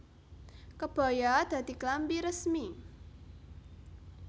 Kebaya dadi klambi resmi